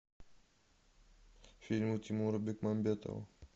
фильмы тимура бекмамбетова